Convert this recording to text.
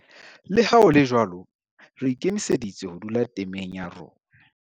Le ha ho le jwalo, re ikemiseditse ho dula temeng ya rona.